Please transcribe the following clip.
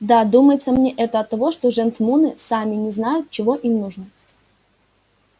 да думается мне это оттого что жентмуны сами не знают чего им нужно